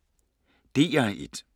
DR1